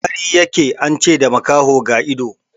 Wari ya ke, an ce da makaho ga ido.